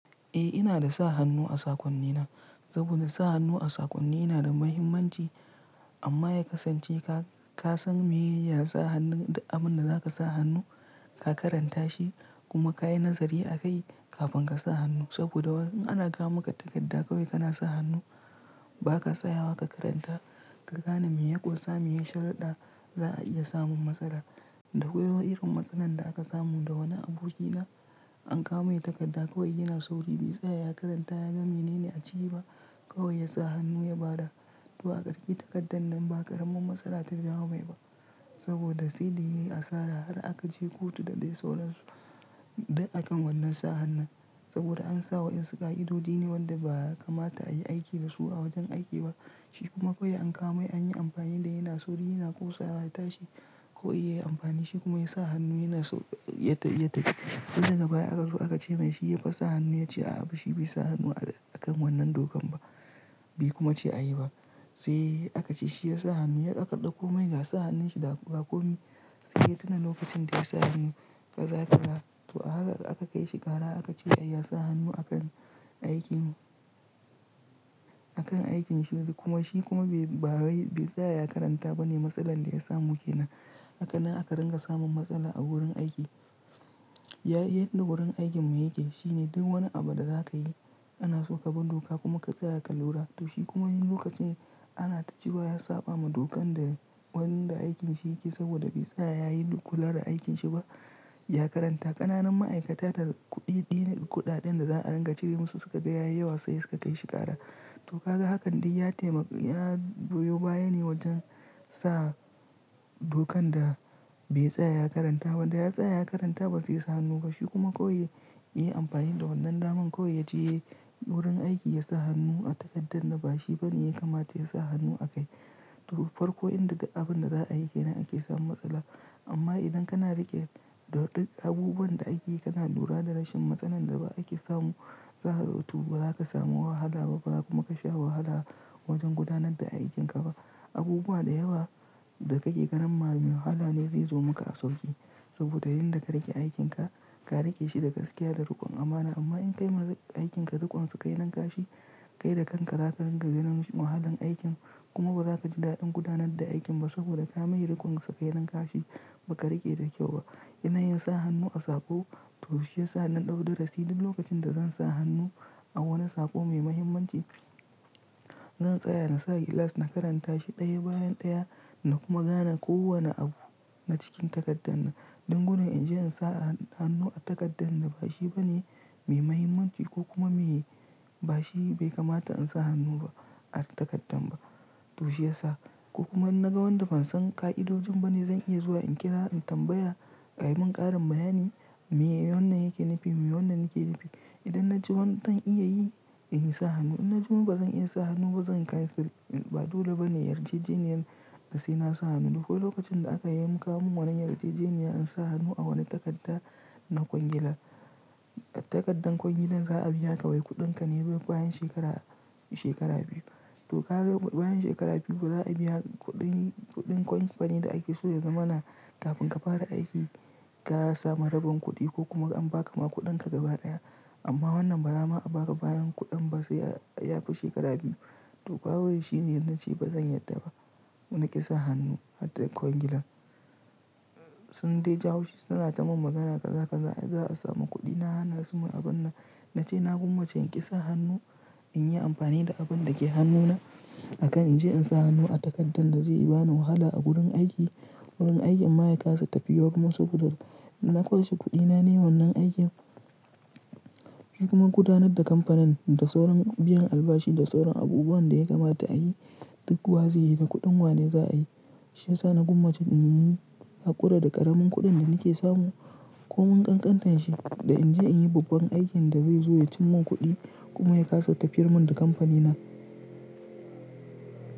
Eh inada sa hannu a sakonnina saboda sa hannu a sakonni yanada muhimmanci amma ya kasance kasan meye yasa hannun duk abinda zaka sa hannu ka karanta shi kuma kayi nazari a kai. Kafin kasa hannu saboda in ana kawo maka takarda kawai kana sa hannu ba 'ka tsayawa ka karanta ka gane meya ƙunsa meye sharida za'a iya samun matsala. Da akwai wani irin matsanin da aka samu da wani abokina an kawo mai takarda kawai yana sauri bai tsaya ya karanta yaga menene a ciki ba kawai yasa hannu ya bada. To a ƙarshe takardar nan ba ƙaramin matsala ta jawo mai ba saboda saida yayi asara har akaje kotu da dai sauransu duk akan wannan sa hannun saboda ansa waƴansu ƙa'idodi ne wanda ba ya kamata ayii aiki dasu a wajen aiki ba. Shi kuma kawai an kawo mai anyi amfani da yana sauri yana kustawa ya tashi kawai yayi amfani shi kuma yasa hannu yana so ya tafi. Saida daga baya aka ce mai shi yafa sa hannu ya ce a'a shi baisa hannu akan wannan dokan ba bai kuma ce ayi ba sai aka ce shi ya sa hannu yaƙaɗa komai ga sa hannun shi ga komai sai yana lokacin da ya sa hannu kaza-kaza to haka aka kai shi ƙara aka ce ya sa hannu akan aikin akan aikin shi kuma shi kuma bai ba sai ya karanta ba ne matsalar da ya samu ke nan. Haka nan aka ringa samun matsala a wurin aiki. Yayi yadda wurin aikin mu yake shine duk wani abu da za ka yi ana so ka bu doka kuma ka tsaya ka lura da shi kuma yin lokacin ana ta cewa ya saba ma dokan da wan da aikin shi yake saboda bai tsaya ya yi kula da aikin shi ba ya karanta ƙananan ma'aikata da kuɗi kuɗaɗen da za a ringa cire musu suka ga yayi yawa sai suka kai shi ƙara. To ka ga hakan dai ya taimaka ya biyo baya ne wajen sa dokan da bai tsaya ya karanta wanda ya tsaya ya karanta ba sai sa hannu ba shi kuma ko iya yi amfani da wannan daman ko ya je wurin aiki ya sa hannu a takardar da bashi bane ya kamata ya sa hannu a kai. To farko inda da abin da za a yi ke nan ake samun matsala amma idan kana riƙe da abubuwan da ake kana lura da rashin matsalan da ba ake samu za to ba za ka samu wahala ba kuma ka sha wahala wajen gudanar da aikinka ba. Abubuwa da yawa da kake ganin wahala ne zai zo maka a sauƙi saboda yanda ka riƙe aikin ka, ka riƙe shi da gaskiya da riƙon amana amma in kai ma aikin ka riƙon sakailan ƙashi kai da kan ka zakarin ga ganin wahalan aikin kuma ba za ka ji daɗin gudanar da aikin ba saboda ka mai riƙon sakailan ƙashi ba ka riƙe da kyau ba. Ina yin sa hannu a saƙo to shiyasa don ɗaukar darasi duk lokacin da zan sa hannu a wani saƙo mai muhimmanci zan tsaya na sa glass na karanta shi ɗaya bayan ɗaya na kuma gane kowane abu na cikin takardar nan. Don gudun in je in sa hannu a takardar da bashi bane mai muhimmanci ko kuma me bashi bai kamata in sa hannu ba a takardar ba. To shiyasa ko kuma in na ga wanda ban san ƙa'idojin ba ne zan iya zuwa in kira in tambaya a yimin ƙarin bayani me wannan yake nufi me wannan yake nufi. Idan na ji wannan zan iya yi in yi sa hannu idan na ji ba zan iya sa hannu ba zan kai sirri ba dole ba ne yarjejeniyar da sai na sa hannu. Ko lokacin da aka yi mu kawo min wannan yarjejeniyar in sa hannu a wani takarda na kwangilar takardar kwangilar za a biya ka wai kuɗin ka ne bayan shekara shekara biyu. To ka ga bayan shekara biyu ba za a biya kuɗin kuɗin company da ake so ya zama na kafin ka fara aiki ka samu rabon kuɗi ko kuma an ba ka ma kuɗin ka gaba ɗaya amma wannan ba za mu a ba ka bayan kuɗin ba sai ya fi shekara biyu. To kawai shine idan na ce ba zan yarda ba na ƙi sa hannu har da kwangilar sun dai jawo shi suna ta mun magana kaza ƙaza za a samu kuɗi na hana su ma abun nan na ce na gummace in ƙi sa hannu in yi amfani da abin da ke hannuna akan in je in sa hannu a takardar da zai bani wahala a gurin aiki wurin aikin ma'aikata tafiyar musu saboda na kwashe kuɗi na ne wannan aikin. Shi kuma gudanar da kamfanin da sauran biyan albashi da sauran abubuwan da ya kamata a yi duk waze da kuɗin wane za a yi. Shiyasa na gwammace in yini hakura da ƙaramin kuɗin da nake samu ko mun ƙanƙanta shi da in je in yi babban aikin da zai zo ya cim min kuɗi kuma ya kaso tafiyar mun da kamfanina.